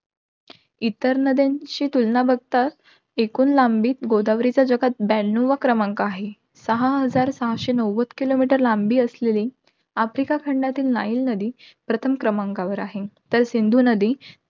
इतर नद्यांशी तुलना बघता, एकूण लांबीत गोदावरीचा जगात ब्याणावा क्रमांक आहे. सहा हजार सहाशे नव्वद kilometer लांबी असलेली आफ्रिका खंडातील, नाईल नदी प्रथम क्रमांकावर आहे. तर सिंधू नदी